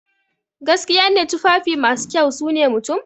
Gaskiya ne, tufafi masu kyau sune mutum.